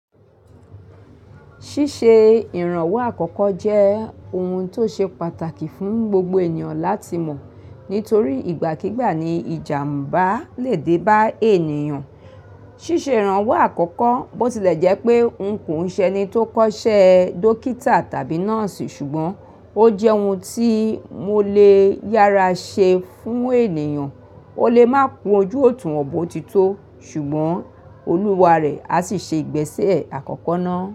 Ṣíṣe ìrànwọ́ àkọ́kọ́ jẹ́ ohun tó ṣe pàtàkì fún gbogbo ènìyàn láti mọ̀ nítorí ìgbàkígbà ni ìjàmbá le dé bá ènìyàn. Ṣíṣe ìrànwọ́ àkọ́kọ́ bó tilẹ̀ jẹ́ pé n kò ń ṣe ẹni tó kọ́ṣẹ́ dókítà tàbí nọ́ọ̀sì ṣùgbọ́n ó jẹ́ ohun tí mo lè yára ṣe fún ènìyàn. Ó lè máa kun ojú òtunwon but o ti tó ṣùgbọ́n olúwa rẹ̀ á sì ṣe ìgbésẹ̀ àkọ́kọ́ náà.